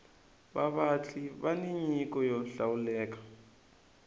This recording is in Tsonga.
vavatli vani nyiko yo hlawuleka